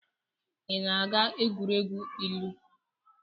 Ị na-aga egwuregwu ilu?